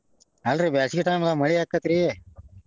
ಅಲ್ರೀ ಬ್ಯಾಸಗಿ time ದಾಗ ಮಳಿ ಆಕ್ಕೆತ್ರಿ.